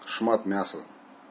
шмат мяса